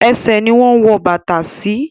Ẹṣẹ̀ ni wọ́n wọ bàtà sí.